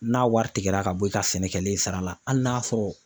N'a wari tigɛra ka bɔ i ka sɛnɛkɛlen sara la hali n'a sɔrɔ